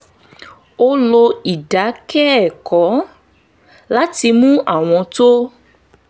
ó lo ìdákẹ́kọ̀ọ́ láti mú àwọn ohun tó